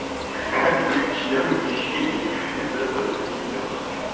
как брить член мужчине из этого видео